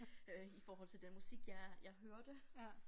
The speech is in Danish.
Øh i forhold til den musik jeg jeg hørte